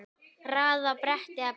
Raðið á bretti eða borð.